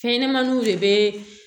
Fɛn ɲɛnɛmaniw de bɛ